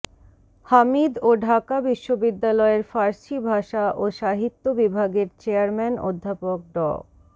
হামিদ ও ঢাকা বিশ্ববিদ্যালয়ের ফার্সি ভাষা ও সাহিত্য বিভাগের চেয়ারম্যান অধ্যাপক ড